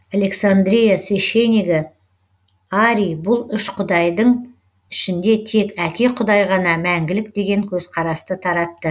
александрия священнигі арий бұл үш құдайдың ішінде тек әке құдай ғана мәңгілік деген көзқарасты таратты